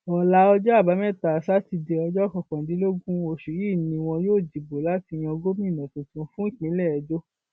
ọlá ọjọ àbámẹta sátidé ọjọ kọkàndínlógún oṣù yìí ni wọn yóò dìbò láti yan gómìnà tuntun fún ìpínlẹ edo